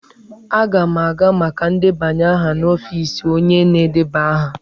Aga m aga maka ndebanye aha n'ọfiisi onye na-edeba aha.